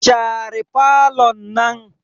Share falon nan.